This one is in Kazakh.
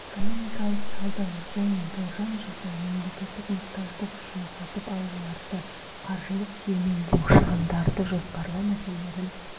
экономикалық талдау және болжам жасау мемлекеттік мұқтаждық үшін сатып алуларды қаржылық сүйемелдеу шығындарды жоспарлау мәселелерін